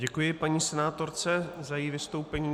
Děkuji paní senátorce za její vystoupení.